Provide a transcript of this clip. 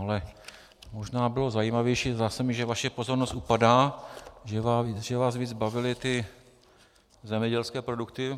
Ale možná bylo zajímavější - zdá se mi, že vaše pozornost upadá -, že vás víc bavily ty zemědělské produkty.